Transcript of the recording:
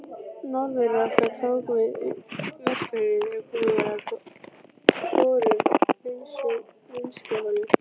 Norðurorka tók við verkefninu þegar komið var að borun vinnsluholu.